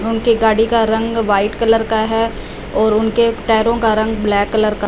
उनकी गाड़ी का रंग व्हाइट कलर का है और उनके पैरों का रंग ब्लैक कलर का--